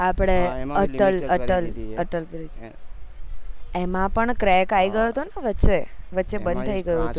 આપડે અટલ અટલ bridge એમાં પણ crack આયી ગયો હતો ને વચ્ચે બન થય ગયું હતું